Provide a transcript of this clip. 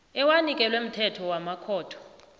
ewanikelwe mthetho wamakhotho